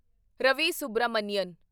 Ravi Subramanian